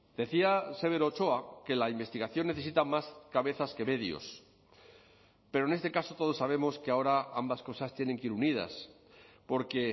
decía severo ochoa que la investigación necesita más cabezas que medios pero en este caso todos sabemos que ahora ambas cosas tienen que ir unidas porque